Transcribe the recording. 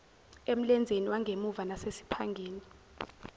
emlenzeni wangemuva nasesiphangeni